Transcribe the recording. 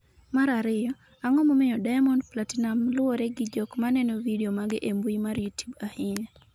mar ariyo, Ang’o momiyo Diamond Platinumz luwre gi jok maneno vidio mage e mbui mar Youtube ahinya?